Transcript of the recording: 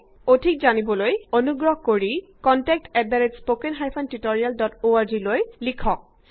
সবিশেষ জানিবলৈ অনুগ্ৰহ কৰি কন্টেক্ট এত spoken hyphen tutorial dot org লৈ লিখক